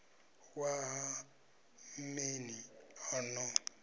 wa ha mmeni a no